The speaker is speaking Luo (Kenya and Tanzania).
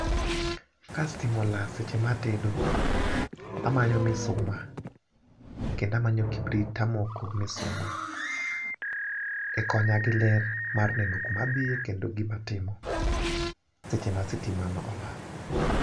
ka stima olal seche ma atedo amanyo misuma kendo amanyo kibrit tamoko misuma, e konya gi ler mar neno kuma adhiye kendo gima atimo seche ma sitima no olal.